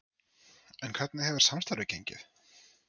En hvernig hefur samstarfið gengið?